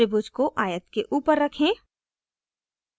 त्रिभुज को आयत के ऊपर रखें